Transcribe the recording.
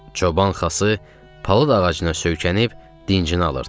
Çoban Xası palıd ağacına söykənib dincini alırdı.